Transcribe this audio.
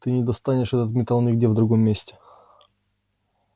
ты не достанешь этот металл нигде в другом месте